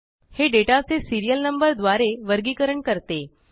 हे डेटा चे serial number द्वारे वर्गीकरण करते